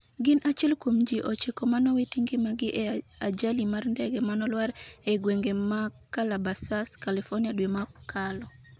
gin achiel kuom ji ochiko manowito ngimagi e ajali mar ndege manolwar e gwenge ma Callabasas, California dwe mokalo